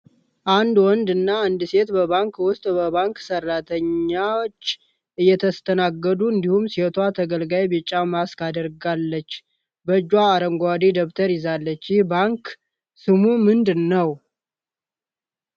አንድ ወንድ እና አንድ ሴት በባንክ ውስጥ በባንክ ሰራተኞች እየተስተናገዱ አንዲሁም ሴቷ ተገልጋይ ቢጫ ማስክ አድርጋለች፣ በእጇም አረንጓዴ ደብተር ይዛለች። ይኽ ባንክ ስሙ ምንድነው?